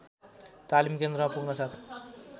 तालिम केन्द्रमा पुग्नासाथ